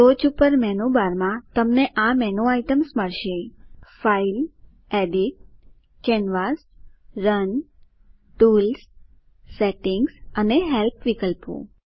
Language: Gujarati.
ટોચ પર મેનુ બારમાં તમને આ મેનુ આઈટ્મ્સ મળશે file edit canvas run tools settings અને હેલ્પ વિકલ્પો